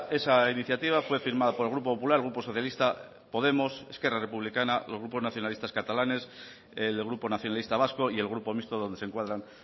esa iniciativa fue firmada por el grupo popular grupo socialista podemos esquerra republicana los grupos nacionalistas catalanes el grupo nacionalista vasco y el grupo mixto donde se encuadran